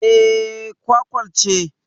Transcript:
Eh, kwakwal ce